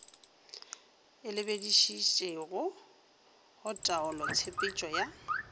e lebišitšego go taolotshepetšo ya